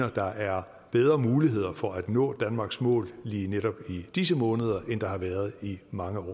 at der er bedre muligheder for at nå danmarks mål lige netop i disse måneder end der har været i mange